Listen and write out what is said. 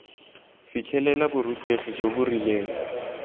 fitlhelela borutegi jo bo rileng